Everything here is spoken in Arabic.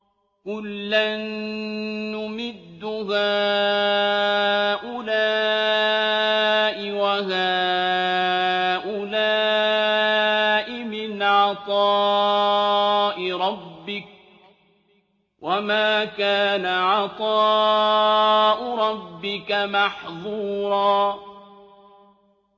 كُلًّا نُّمِدُّ هَٰؤُلَاءِ وَهَٰؤُلَاءِ مِنْ عَطَاءِ رَبِّكَ ۚ وَمَا كَانَ عَطَاءُ رَبِّكَ مَحْظُورًا